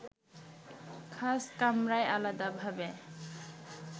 খাস কামরায় আলাদাভাবে